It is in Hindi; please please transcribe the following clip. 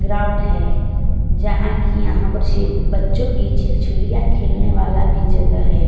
ग्राउंड है जहां कि यहां पर से बच्चों की चिलचूलियां खेलने वाला भी जगह हैं।